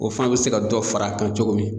O fana be se ka dɔ far'a kan cogo min